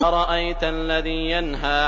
أَرَأَيْتَ الَّذِي يَنْهَىٰ